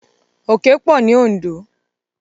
Òkè pọ̀ ní Òndó.